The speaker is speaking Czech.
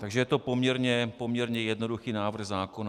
Takže je to poměrně jednoduchý návrh zákona.